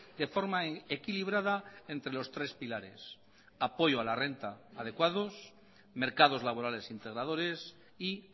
de forma equilibrada entre los tres pilares apoyo adecuado a la renta mercados laborales integradores y